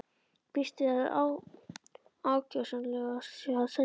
Býst við að ákjósanlegast sé að selja strax.